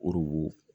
Orobo